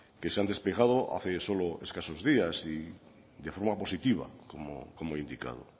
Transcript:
que se han despejado hace solo escasos días y de forma positiva como he indicado